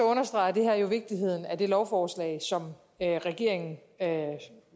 understreger det her jo vigtigheden af det lovforslag som regeringen